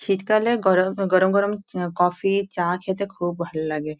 শীত কালে গর গরম গরম চ কফি চা খেতে খুব ভাললাগে।